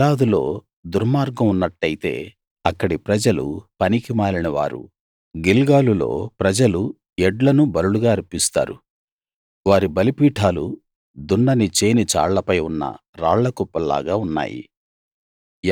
గిలాదులో దుర్మార్గం ఉన్నట్టయితే అక్కడి ప్రజలు పనికిమాలిన వారు గిల్గాలులో ప్రజలు ఎడ్లను బలులుగా అర్పిస్తారు వారి బలిపీఠాలు దున్నిన చేని చాళ్ళపై ఉన్న రాళ్లకుప్పల్లాగా ఉన్నాయి